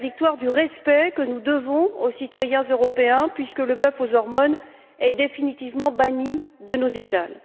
c'est la victoire du respect que nous devons aux citoyens européens, puisque le bœuf aux hormones est définitivement banni de nos étals.